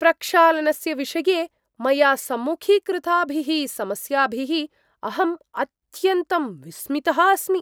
प्रक्षालनस्य विषये मया सम्मुखीकृताभिः समस्याभिः अहं अत्यन्तं विस्मितः अस्मि।